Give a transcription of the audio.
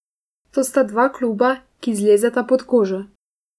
To sta dva kluba, ki zlezeta pod kožo.